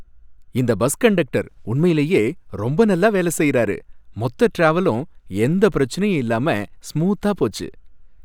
இந்த bus conductor உண்மையிலயே ரொம்ப நல்லா வேலை செய்யறாரு, மொத்த டிராவலும் எந்தப் பிரச்சனையும் இல்லாம ஸ்மூத்தா போச்சு.